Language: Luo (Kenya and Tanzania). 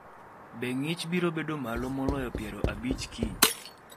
Be ng’ich biro bedo malo moloyo piero abich kiny?